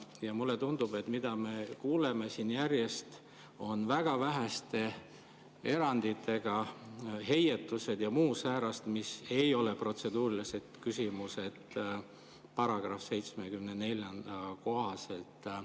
Ja mulle tundub, et see, mida me siin järjest kuuleme, on väga väheste eranditega heietused ja muu säärane, mis ei ole protseduurilised küsimused § 74 kohaselt.